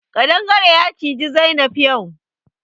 Ƙadangare ya ciji Zainab yau.